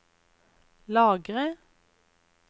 lagre